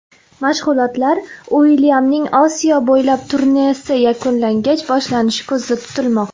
Mashg‘ulotlar Uilyamning Osiyo bo‘ylab turnesi yakunlangach boshlanishi ko‘zda turilmoqda.